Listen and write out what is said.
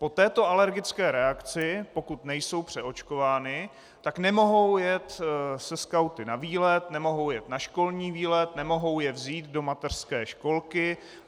Po této alergické reakci, pokud nejsou přeočkovány, tak nemohou jet se skauty na výlet, nemohou jet na školní výlet, nemohou je vzít do mateřské školky.